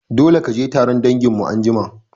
Dole kaje taron danginmu anjima